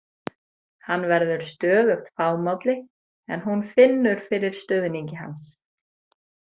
Hann verður stöðugt fámálli en hún finnur fyrir stuðningi hans.